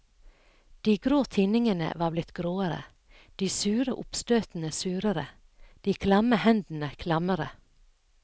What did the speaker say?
De grå tinningene var blitt gråere, de sure oppstøtene surere, de klamme hendene klammere.